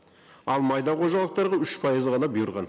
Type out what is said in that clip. ал майда қожалықтарға үш пайызы ғана бұйырған